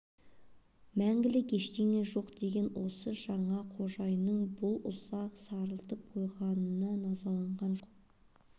мәңгілік ештеңе жоқ деген осы жаңа қожайынның бұлай ұзақ сарылтып қойғанына назаланған жоқ